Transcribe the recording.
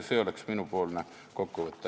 See oli minu kokkuvõte.